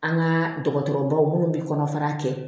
An ka dɔgɔtɔrɔbaw minnu bɛ kɔnɔfara kɛ